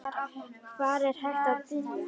Hvar er hægt að byrja?